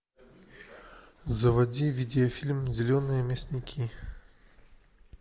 заводи видеофильм зеленые мясники